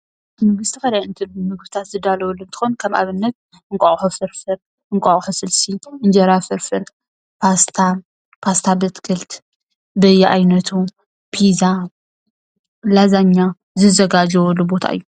ቤት ምግቢ ዝተፈላለዩ ምግብታት ዝዳለወሉ እንትኮን ከም ኣብነት እንቋቁሖ ፍርፍር፣ እንቋቁሖ ስልሲ፣ እንጀራ ፍርፍር፣ ፓስታ፣ ፓስታ ብኣትክልት፣ በየኣይነቱ፣ ፒዛ ፣ላዛኛ ዝዘጋጀወሉ ቦታ እዩ፡፡